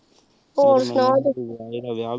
ਹੋਰ ਸੁਨਾ